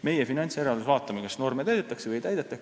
Meie oma finantsjärelevalves vaatame, kas norme täidetakse või ei täideta.